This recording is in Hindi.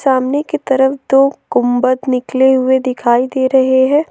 सामने की तरफ दो गुंबद निकले हुए दिखाई दे रहे हैं।